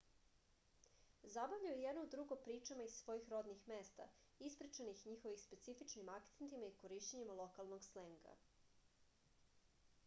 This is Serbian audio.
zabavljaju jedno drugo pričama iz svojih rodnih mesta ispričanih njihovim specifičnim akcentima i korišćenjem lokalnog slenga